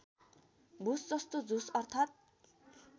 भुसजस्तो झुस अर्थात्